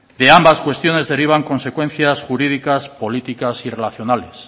de ambas cuestiones derivan consecuencias jurídicas políticas y relacionales